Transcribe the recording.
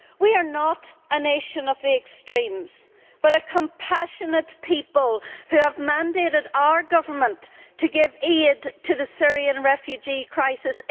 We are not a nation of extremes but a compassionate people who have mandated our government to give aid to the Syrian refugee crisis.